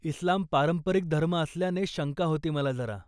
इस्लाम पारंपरिक धर्म असल्याने शंका होती मला जरा.